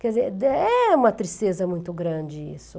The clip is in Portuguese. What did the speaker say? Quer dizer, é uma tristeza muito grande isso.